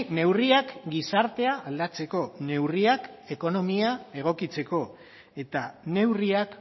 neurriak gizartea aldatzeko neurriak ekonomia egokitzeko eta neurriak